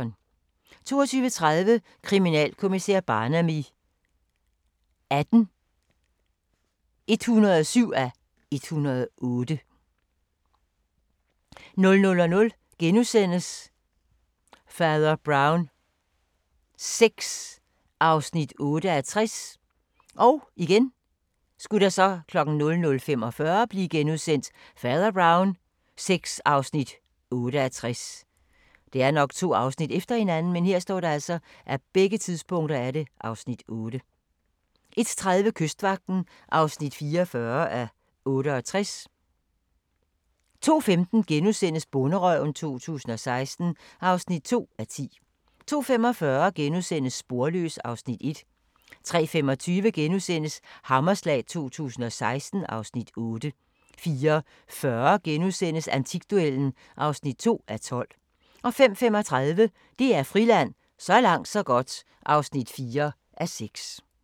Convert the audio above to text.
22:30: Kriminalkommissær Barnaby XVIII (107:108) 00:00: Fader Brown VI (8:60)* 00:45: Fader Brown VI (8:60)* 01:30: Kystvagten (44:68) 02:15: Bonderøven 2016 (2:10)* 02:45: Sporløs (Afs. 1)* 03:25: Hammerslag 2016 (Afs. 8)* 04:40: Antikduellen (2:12)* 05:35: DR Friland: Så langt så godt (4:6)